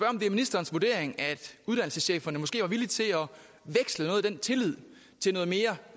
om det er ministerens vurdering at uddannelsescheferne måske er villige til at af den tillid til noget mere